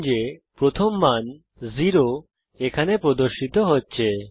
নিশ্চিত করুন যে প্রথম মান শূন্য এখানে প্রদর্শিত হচ্ছে